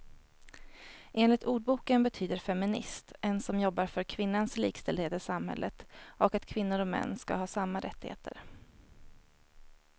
Enligt ordboken betyder feminist en som jobbar för kvinnans likställdhet i samhället och att kvinnor och män ska ha samma rättigheter.